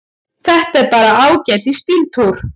Þetta er bara ágætis bíltúr.